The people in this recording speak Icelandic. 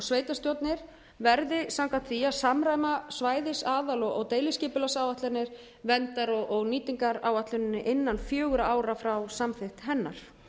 sveitarstjórnir verði samkvæmt því að samræma svæðis aðal og deiliskipulagsáætlanir verndar og nýtingaráætluninni innan fjögurra ára frá samþykkt hennar